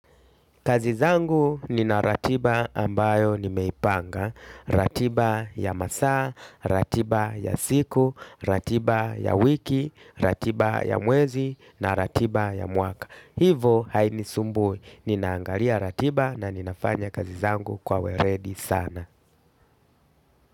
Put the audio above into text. Kazizangu nina ratiba ambayo nimeipanga, ratiba ya masaa, ratiba ya siku, ratiba ya wiki, ratiba ya mwezi na ratiba ya mwaka. Hivo haini sumbui, ninaangalia ratiba na ninafanya kazizangu kwa we redi sana.